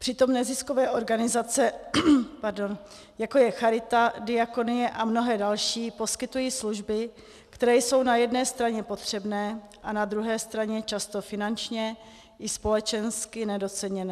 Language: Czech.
Přitom neziskové organizace, jako je charita, diakonie a mnohé další, poskytují služby, které jsou na jedné straně potřebné a na druhé straně často finančně i společensky nedoceněné.